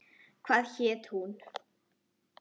Hvað hét hún?